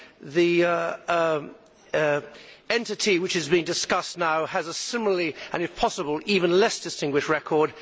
The entity which is being discussed now has a similar and, if possible, even less distinguished record.